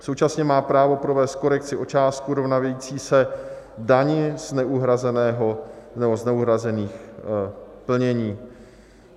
Současně má právo provést korekci o částku rovnající se dani z neuhrazených plnění.